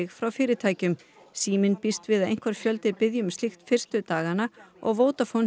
frá fyrirtækjum síminn býst við að einhver fjöldi biðji um slíkt fyrstu dagana og Vodafone